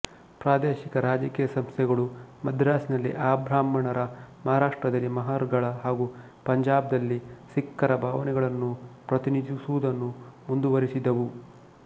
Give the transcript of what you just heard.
ಪ್ರಾದೇಶಿಕ ರಾಜಕೀಯ ಸಂಸ್ಥೆಗಳೂ ಮದ್ರಾಸಿನಲ್ಲಿ ಅಬ್ರಾಹ್ಮಣರ ಮಹಾರಾಷ್ಟ್ರದಲ್ಲಿ ಮಹರ್ ಗಳ ಹಾಗೂ ಪಂಜಾಬದಲ್ಲಿ ಸಿಖ್ಖರ ಭಾವನೆಗಳನ್ನು ಪ್ರತಿನಿಧಿಸುವುದನ್ನು ಮುಂದುವರೆಸಿದವು